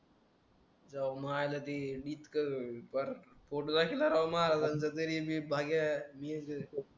तु मायला ते इतका पार पोट घाशी धराव महाराजांच्या तरी मी भाग्या